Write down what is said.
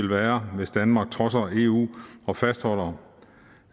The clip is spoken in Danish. være hvis danmark trodser eu og fastholder